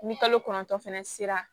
Ni kalo kɔnɔntɔn fana sera